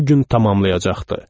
Bu gün tamamlayacaqdı.